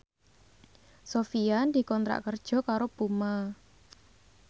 Sofyan dikontrak kerja karo Puma